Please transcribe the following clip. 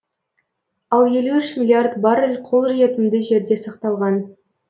ал елу үш миллиард баррель қолжетімді жерде сақталған